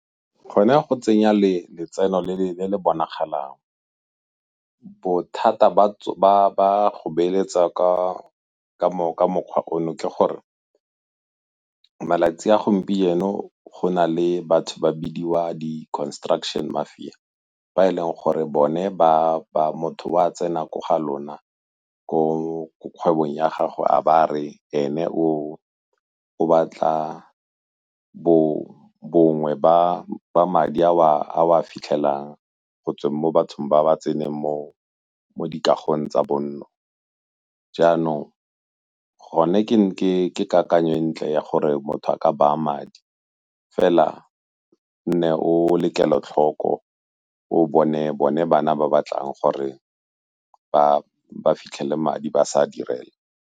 Gone go tsenya letseno le le bonagalang. Bothata ba go beeletsa ka mokgwa ono ke gore malatsi a gompieno go na le batho ba bidiwa di-construction mafia, ba e leng gore bone motho o a tsena ko ga lona ko kgwebong ya gago a ba a re ene o batla bongwe ba madi a o a fitlhelang gotswa mo bathong ba ba tseneng mo dikagong tsa bonno. Jaanong gone ke kakanyo e ntle ya gore motho a ka baya madi fela nne o le kelotlhoko o bone bone bana ba ba tlang gore ba fitlhele madi ba sa a direla.